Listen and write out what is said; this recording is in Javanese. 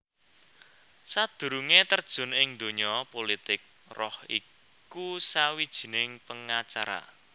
Sadurungé terjun ing donya pulitik Roh iku sawijining pengacara